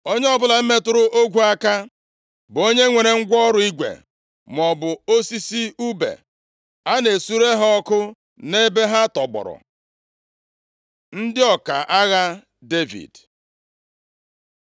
Onye ọbụla metụrụ ogwu aka, bụ onye nwere ngwa ọrụ igwe maọbụ osisi ùbe. A na-esure ha ọkụ nʼebe ha tọgbọrọ.” Ndị ọka agha Devid